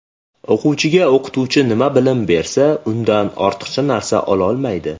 O‘quvchiga o‘qituvchi nima bilim bersa, undan ortiqcha narsa ololmaydi.